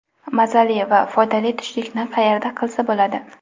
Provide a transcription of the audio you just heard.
Mazali va foydali tushlikni qayerda qilsa bo‘ladi?